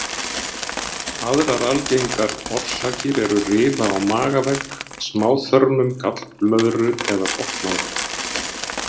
Aðrar algengar orsakir eru rifa á magavegg, smáþörmum, gallblöðru eða botnlanga.